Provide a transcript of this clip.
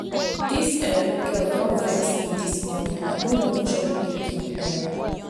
dis um girl don vex me dis morning i no wan chop again. um